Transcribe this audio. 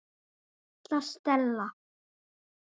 Svo litla Stella.